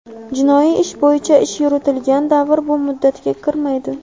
Jinoiy ish bo‘yicha ish yuritilgan davr bu muddatga kirmaydi.